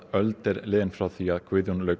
öld er frá því að Guðjón lauk